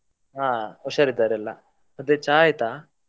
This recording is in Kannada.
ಹಾ ಹುಷಾರ್ ಇದ್ದಾರೆ ಎಲ್ಲಾ, ಮತ್ತೆ ಚಾ ಆಯ್ತಾ?